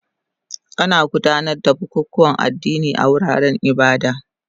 Ana gudanar da bukukuwan addini a wuraren ibada